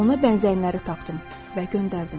Ona bənzəyənləri tapdım və göndərdim.